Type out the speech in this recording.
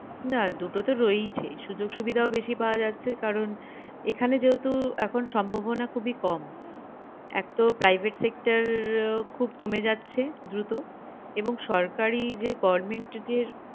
না দুটো তো রয়েইছে সূযোগ সুবিধাও বেশী পাওয়া যাচ্ছে কারণ এখানে যেহেতু এখন সম্ভাবনা খুবিই কম এক তো private sector খুব কমে যাচ্ছে দ্রুত এবং সরকারি যে government যে